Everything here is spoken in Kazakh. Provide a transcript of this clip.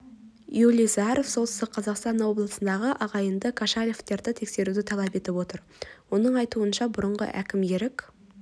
юрий заіаров солтүстік қазақстан облысындағы ағайынды кошалевтерді тексеруді талап етіп отыр оның айтуынша бұрынғы әкімі ерік